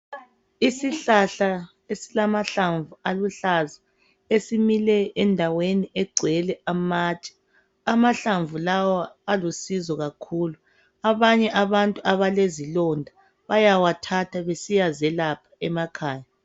Isihlahla esilamahlamvu aluhlaza esimile endaweni egcwele amatshe. Amahlamvu lawa alusizo kakhulu. Abanye abantu abalezilonda bayawathatha besiyazilapha emakhaya.